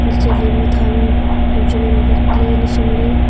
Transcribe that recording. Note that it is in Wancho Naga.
chatley ema tham chem ngan bak ley nechang ley.